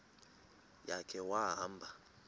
ya khe wahamba